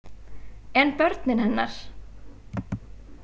En börnin hennar?